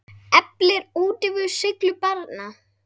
Eflir útivera seiglu barna?